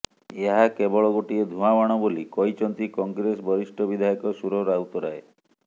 ଏହା କେବଳ ଗୋଟିଏ ଧୂଆଁ ବାଣ ବୋଲି କହିଛନ୍ତି କଂଗ୍ରେସ ବରିଷ୍ଠ ବିଧାୟକ ସୁର ରାଉତରାୟ